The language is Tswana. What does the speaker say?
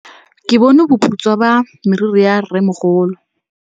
Ke bone boputswa jwa meriri ya rrêmogolo.